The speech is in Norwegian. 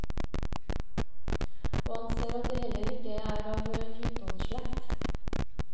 Og han ser at de heller ikke er av jotunslekt.